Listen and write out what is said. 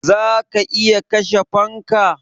Za ka iya kashe fanka?